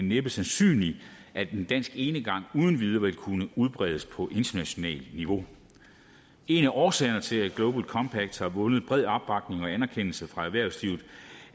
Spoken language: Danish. næppe sandsynligt at en dansk enegang uden videre vil kunne udbredes på internationalt niveau en af årsagerne til at global compact har vundet bred opbakning og anerkendelse fra erhvervslivet